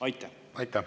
Aitäh!